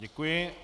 Děkuji.